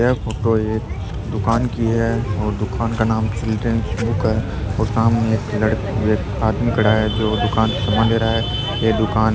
यह फोटो एक दुकान की है और दुकान का नाम चिल्ड्रेन बुक है और सामने एक व ल आदमी खड़ा है जो दुकान से सामान ले रहा है ये दुकान --